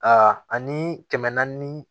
A ani kɛmɛ naani